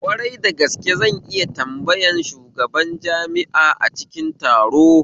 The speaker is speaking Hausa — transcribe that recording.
Kwarai dagaske, zan iya tambayar shugaban jami'a a cikin taro